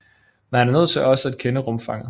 Man er nødt til også at kende rumfanget